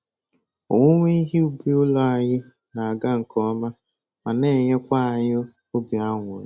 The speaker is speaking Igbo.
Owuwe ihe ubi ụlọ anyị na-aga nke ọma ma na-enyekwa anyị obi aṅụrị